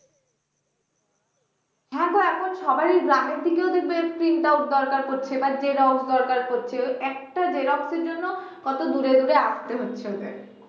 হ্যাঁ গো এখন সবাই গ্রামের দিকেও দেখবে print out দরকার পড়ছে বা xerox দরকার পড়ছে, একটা xerox এর জন্য কত দূরে দূরে আসতে হচ্ছে ওদের